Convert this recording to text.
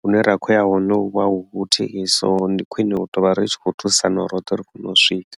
hune ra khou ya hone huvha hu huthihi so ndi khwine u tovha ri tshi khou thusana uri roṱhe ri kone u swika.